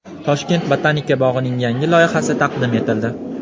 Toshkent botanika bog‘ining yangi loyihasi taqdim etildi .